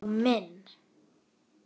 Einsog minn.